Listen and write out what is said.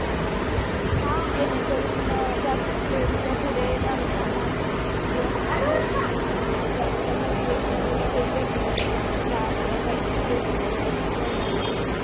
जेणेकरून जातीभेद किंवा पुढे माणसांना असं आह जास्त motivational हे भेटून आह म्हणजे काय वाईट गोष्टींकडे वळणार नाहीत